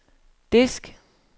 disk